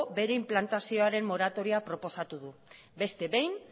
bere inplantazioaren moratoria proposatu du beste behin